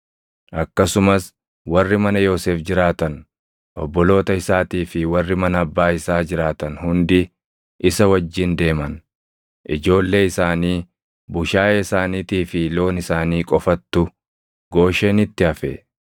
Akkasumas warri mana Yoosef jiraatan, obboloota isaatii fi warri mana abbaa isaa jiraatan hundi isa wajjin deeman. Ijoollee isaanii, bushaayee isaaniitii fi loon isaanii qofattu, Gooshenitti hafe.